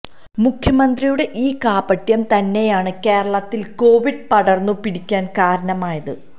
മുഖ്യമന്ത്രിയുടെ ഈ കാപട്യം തന്നെയാണ് കേരളത്തില് കോവിഡ് പടര്ന്നു പിടിക്കാന് കാരണമായത്